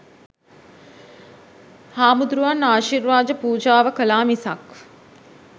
හාමුදුරුවන් ආශිර්වාද පූජාව කළා මිසක්